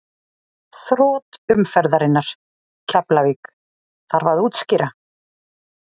Þrot umferðarinnar: Keflavík Þarf að útskýra?